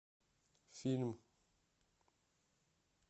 фильм